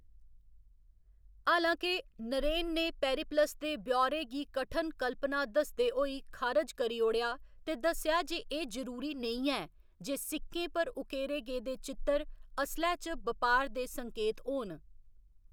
हालांके, नरेन ने पेरिप्लस दे ब्यौरे गी कठन कल्पना दसदे होई खारज करी ओड़ेआ ते दस्सेआ जे एह्‌‌ जरूरी नेईं ऐ जे सिक्कें पर उकेरे गेदे चित्तर असलै च बपार दे संकेत होन।